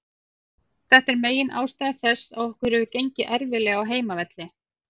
Þetta er megin ástæða þess að okkur hefur gengið erfiðlega á heimavelli.